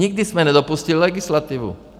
Nikdy jsme nedopustili legislativu.